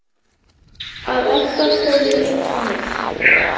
Hann vill að Edda komi líka með.